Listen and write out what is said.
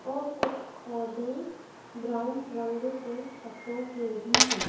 और कुछ पौधे ब्राउन रंग के पत्तों के भी है।